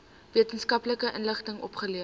wetenskaplike inligting opgelewer